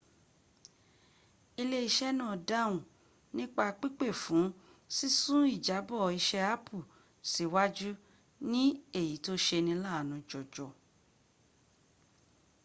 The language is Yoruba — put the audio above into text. ilé iṣẹ́ náà dáhùn nípa pípè fún sísún ìjábọ̀ iṣẹ́ apple síwájú ní èyí tó seni láàánú jọjọ